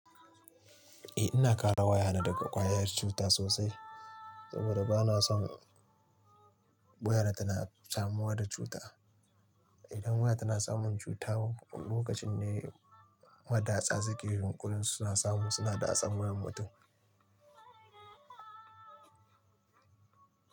Eh ina kare wayata daga ƙwayar cuta sosai saboda bana son wayar tana kamuwa da cuta. Idan waya tana samun cuta lokacin ne madatsa suke yunkurin suna samu suna da tsamiyar mutum.